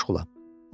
Mən məşğulam.